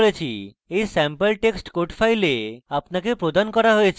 এই sample text code files আপনাকে প্রদান করা হয়েছে